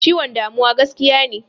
Ciwon damuwa gaskiya.